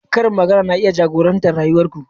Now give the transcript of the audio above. Karin magana na iya jagorantar rayuwar ku.